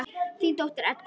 Þín dóttir, Edda.